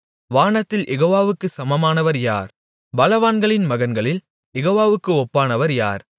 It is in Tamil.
வானத்தில் யெகோவாவுக்கு சமமானவர் யார் பலவான்களின் மகன்களில் யெகோவாவுக்கு ஒப்பானவர் யார்